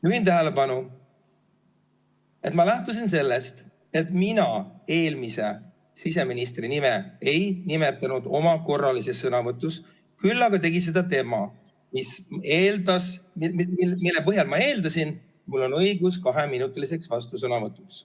Juhin tähelepanu, et ma lähtusin sellest, et mina eelmise siseministri nime ei nimetanud oma korralises sõnavõtus, küll aga tegi seda tema, mille põhjal ma eeldasin, et mul on õigus kaheminutiliseks vastusõnavõtuks.